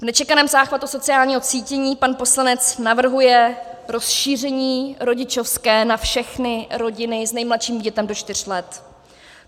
V nečekaném záchvatu sociálního cítění pan poslanec navrhuje rozšíření rodičovské na všechny rodiny s nejmladším dítětem do čtyř let.